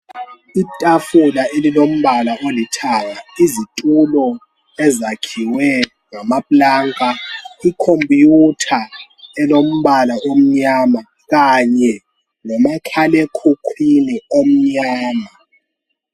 Itafula elilombala olithanga, izitulo ezakhiwe ngamaplanka. IComputer elombala omnyama kanye lomakhalekhukhwini omnyama.